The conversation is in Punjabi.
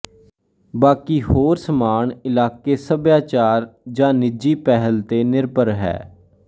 ਬਾਕੀ ਹੋਰ ਸਮਾਨ ਇਲਾਕੇ ਸੱਭਿਆਚਾਰ ਜਾਂ ਨਿੱਜੀ ਪਹਿਲ ਤੇ ਨਿਰਭਰ ਹੈ